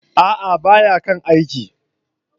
A'a! ba ya kan aiki.